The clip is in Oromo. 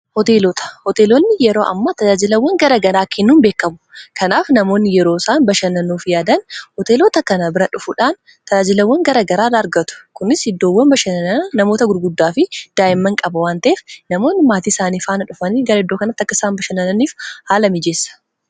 Hooteelonni yeroo ammaa tajaajilawwan gara garaa kennuun beekamu. Kanaaf namoonni yeroo isaan bashannanuuf yaadan hoteelota kana bira dhufuudhaan tajaajilawwan gara garaa argatu. Kunis iddoowwan bashannana namoota gurguddaa fi daa'imman qaba waan ta'eef namoonni maatii isaanii faana dhufanii gara iddoo kanatti akka isaan bashannananiif haala miijeessa.